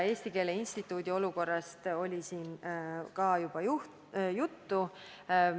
Eesti Keele Instituudi olukorrast oli siin ka juba juttu.